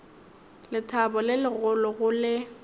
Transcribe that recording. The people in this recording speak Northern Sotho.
lethabo le legolo go le